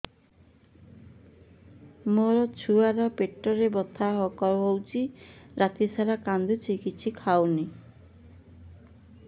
ମୋ ଛୁଆ ର ପେଟ ବଥା ହଉଚି ରାତିସାରା କାନ୍ଦୁଚି କିଛି ଖାଉନି